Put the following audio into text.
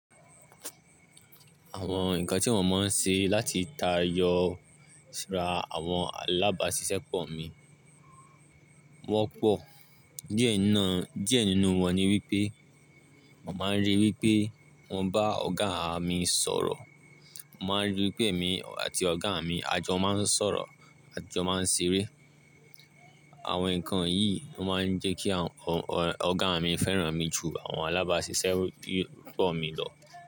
Àwọn nǹkan tí mo máa n ṣe láti ta yọ ra àwọn alábáṣiṣẹ́pọ̀ mi wọ́pọ̀. Díẹ̀ nínú wọn ni wípé, mo máa n ríi wípé mo bá ọ̀gá mi sọ̀rọ̀, mo máa n ríi wípé èmi àti ọ̀gá mi à jọ máa n sọ̀rọ̀ àti jọ máa n ṣeré. Àwọn nǹkan yìí ló máa n jẹ́ kí ọ̀gá mi fẹ́ràn mi ju àwọn alábáṣiṣẹ́pọ̀ mi lọ.